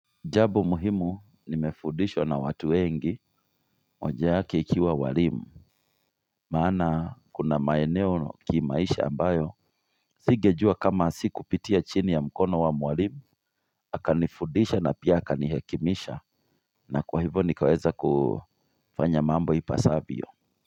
Jambo muhimu nimefundishwa na watu wengi moja wake ikiwa walimu. Maana kuna maeneno kimaisha ambayo singejua kama si kupitia chini ya mkono wa mwalimu akanifudisha na pia akanihekimisha. Na kwa hivyo nikaweza kufanya mambo ipasavyo.